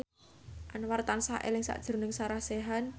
Anwar tansah eling sakjroning Sarah Sechan